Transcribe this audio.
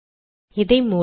இதை மூடவும்